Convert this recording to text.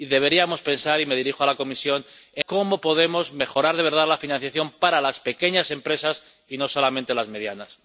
Deberíamos pensar —y me dirijo a la Comisión— cómo podemos mejorar de verdad la financiación para las pequeñas empresas, y no solamente las medianas.